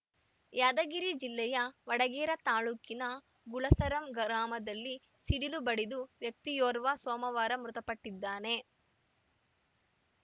ಯಾದಗಿರಿ ಜಿಲ್ಲೆಯ ವಡಗೇರಾ ತಾಲೂಕಿನ ಗುಲಸರಂ ಗ್ರಾಮದಲ್ಲಿ ಸಿಡಿಲು ಬಡಿದು ವ್ಯಕ್ತಿಯೋರ್ವ ಸೋಮವಾರ ಮೃತಪಟ್ಟಿದ್ದಾನೆ